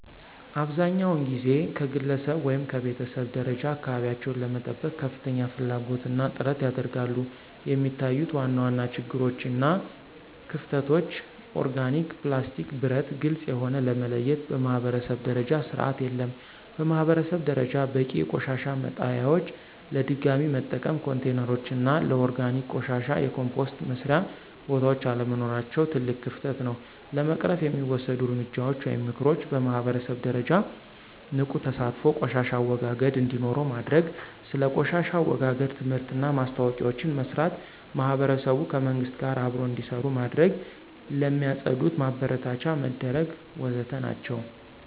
አብዛኛውን ጊዜ ከግለሰብ ወይም ከቤተሰብ ደረጃ አካባቢቸውን ለመጠበቅ ከፍተኛ ፍላጎት እና ጥረት ያደርጋሉ፣ የሚታዩት ዋና ዋና ችግሮች እና ክፍተቶች (ኦርጋኒክ፣ ፕላስቲክ፣ ብረት፣ ግልጽ የሆነ) ለመለየት በማኅበረሰብ ደረጃ ስርዓት የለም። በማህበረሰብ ደረጃ በቂ የቆሻሻ መጣሊያዎች፣ ለድገሚ መጠቀም ኮንቴይነሮች እና ለኦርጋኒክ ቆሻሻ የኮምፖስት መስሪያ ቦታዎች አለመኖራቸው ትልቅ ክፍተት ነው። ለመቅረፍ የሚወሰዱ እርምጃዎች (ምክሮች) በማህበረሰብ ደረጃ ንቁ ተሳትፎ ቆሻሻ አወጋገድ እንዴኖረው ማድርግ። ስለ ቆሻሻ አወጋገድ ትምህርትና ማስታወቂያዎችን መስራት። ማህበረሰቡ ከመንግሥት ጋር አብሮ እንዴሰሩ መድረግ። ለሚፅድት ማበረታቻ መድረግ ወዘተ ናቸው።